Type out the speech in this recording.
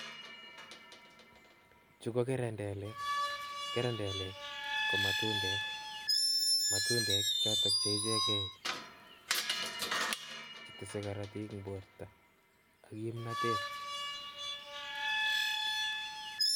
Chuu ko kerendelek, kerendelek komatundek, matundek choton cheecheke chetese korotik en borto ak kimnotet.